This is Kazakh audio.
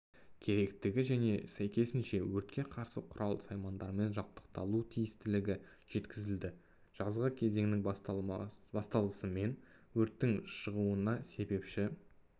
керектігі және сәйкесінше өртке қарсы құрал-саймандармен жабдықталу тиістілігі жеткізілді жазғы кезеңнің басталысымен өрттің шығуына себепші